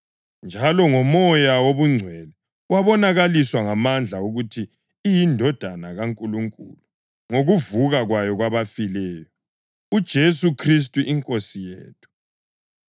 njalo ngoMoya wobungcwele yabonakaliswa ngamandla ukuthi iyiNdodana kaNkulunkulu ngokuvuka kwayo kwabafileyo; uJesu Khristu iNkosi yethu.